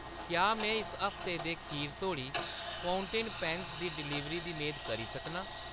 क्या में इस हफ्ते दे खीर तोड़ी फ़उंटेन पैन्न दी डलीवरी दी मेद करी सकनां ?